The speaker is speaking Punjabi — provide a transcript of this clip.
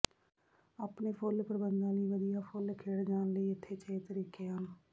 ਆਪਣੇ ਫੁੱਲ ਪ੍ਰਬੰਧਾਂ ਲਈ ਵਧੀਆਂ ਫੁੱਲ ਖਿੜ ਜਾਣ ਲਈ ਇੱਥੇ ਛੇ ਤਰੀਕੇ ਹਨ